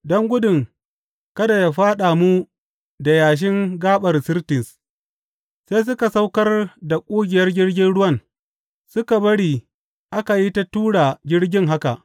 Don gudun kada a fyaɗa mu da yashin gaɓar Sirtis, sai suka saukar da ƙugiyar jirgin ruwan, suka bari aka yi ta tura jirgin haka.